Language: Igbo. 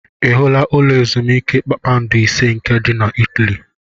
I hụla ụlọ ezumiike kpakpando ise nke dị na Italy?